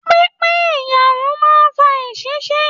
Pínpín iyarun máa n fà èsisi.